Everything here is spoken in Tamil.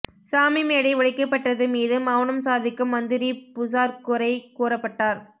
சாமி மேடை உடைக்கப்பட்டது மீது மௌனம் சாதிக்கும் மந்திரி புசார் குறை கூறப்பட்டார்